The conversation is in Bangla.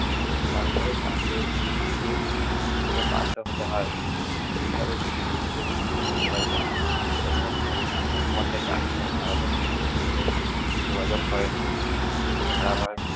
তারপর তাকে insulin নিতে বাধ্য করা হয়। এইভাবে তিনি মুম্বাই যান, এখানে তিনি ব্রাহ্মণ বর্ণের doctor যোগাযোগ করেন